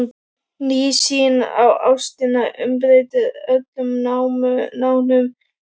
Ný sýn á ástina umbreytir öllum nánum samböndum.